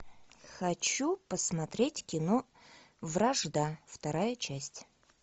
хочу посмотреть кино вражда вторая часть